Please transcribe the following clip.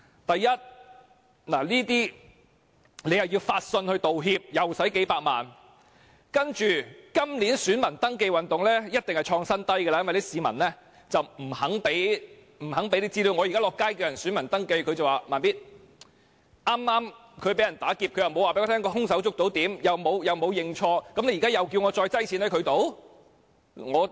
第一，發信致歉會花數百萬元；其次，今年選民登記運動登記人數一定創新低，因為市民不願意提交資料，我現在在街上鼓勵市民登記做選民，市民表示：他們剛剛被打劫，又未有表示是否捉到兇手，又沒有認錯，現在叫我再放錢在他們處？